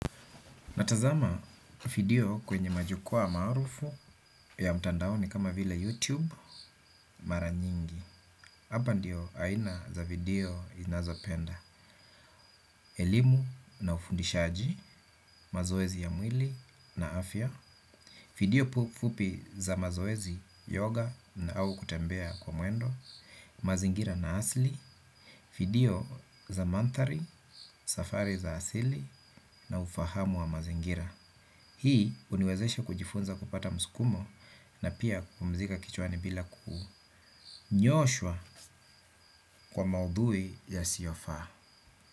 Natazama video kwenye majukwaa maarufu ya mtandaoni kama vila YouTube mara nyingi. Hapa ndio aina za video ninazopenda. Elimu na ufundishaji, mazoezi ya mwili na afya. Video fupi za mazoezi, yoga na au kutembea kwa mwendo. Mazingira na asili. Video za mandhari, safari za asili na ufahamu wa mazingira. Hii huniwezesha kujifunza kupata msukumo na pia kupumzika kichwani bila kunyooshwa kwa maudhui yasiofaa.